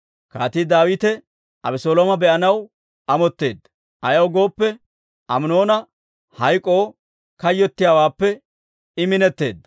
Kaatii Daawite Abeselooma be'anaw amotteedda; ayaw gooppe, Aminoona hayk'k'oo kayyottiyaawaappe I minetteedda.